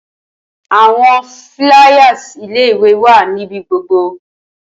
Awọn fliers ile-iwe wa nibi gbogbo